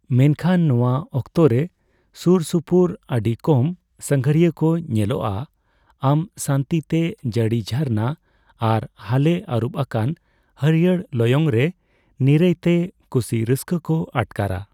ᱢᱮᱱᱠᱷᱟᱱ ᱱᱚᱣᱟ ᱚᱠᱛᱚ ᱨᱮ ᱥᱩᱨᱥᱩᱯᱩᱨ ᱟᱹᱰᱤ ᱠᱚᱢ ᱥᱟᱸᱜᱷᱟᱨᱤᱭᱟᱹ ᱠᱚ ᱧᱮᱞᱚᱜᱼᱟ, ᱟᱢ ᱥᱟᱱᱛᱤ ᱛᱮ ᱡᱟᱹᱲᱤ ᱡᱷᱟᱨᱱᱟ ᱟᱨ ᱦᱟᱞᱮ ᱟᱹᱨᱩᱵ ᱟᱠᱟᱱ ᱦᱟᱹᱨᱭᱟᱹᱲ ᱞᱚᱭᱚᱝ ᱨᱮ ᱱᱤᱨᱟᱹᱭ ᱛᱮ ᱠᱩᱥᱤ ᱨᱟᱹᱥᱠᱟᱹ ᱠᱚ ᱟᱴᱠᱟᱨᱟ ᱾